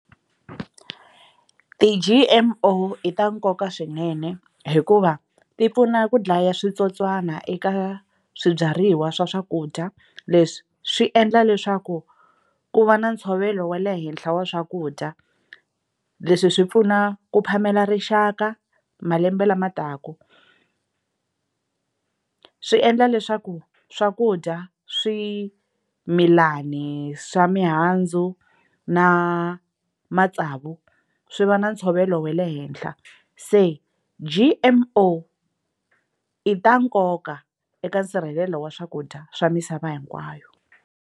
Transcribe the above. Ti-G_M_O i ta nkoka swinene hikuva ti pfuna ku dlaya switsotswana eka swibyariwa swa swakudya leswi swi endla leswaku ku va na ntshovelo wa le henhla wa swakudya leswi swi pfuna ku phamela rixaka malembe lama taka swi endla leswaku swakudya swimilani swa mihandzu na matsavu swi va na ntshovelo wa le henhla se G_M_O i ta nkoka eka nsirhelelo wa swakudya swa misava hinkwayo.